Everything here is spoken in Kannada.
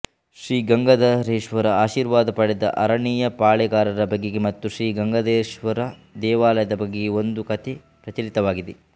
ಶ್ರೀ ಗಂಗಾಧರೇಶ್ವರನ ಆಶೀರ್ವಾದ ಪಡೆದ ಆರಣಿಯ ಪಾಳೇಗಾರರ ಬಗೆಗೆ ಮತ್ತು ಶ್ರೀ ಗಂಗಾಧರೇಶ್ವರ ದೇವಾಲಯದ ಬಗೆಗೆ ಒಂದು ಕಥೆ ಪ್ರಚಲಿತವಾಗಿದೆ